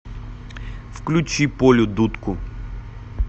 включи полю дудку